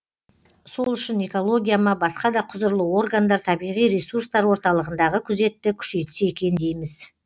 сол үшін экология ма басқа да құзырлы органдар табиғи ресурстар орталығындағы күзетті күшейтсе екен дейміз